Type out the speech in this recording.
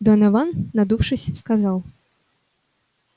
донован надувшись сказал